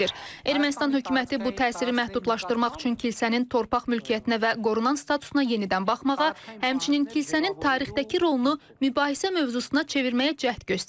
Ermənistan hökuməti bu təsiri məhdudlaşdırmaq üçün kilsənin torpaq mülkiyyətinə və qorunan statusuna yenidən baxmağa, həmçinin kilsənin tarixdəki rolunu mübahisə mövzusuna çevirməyə cəhd göstərir.